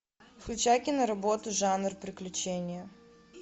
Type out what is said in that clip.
включай киноработу жанр приключения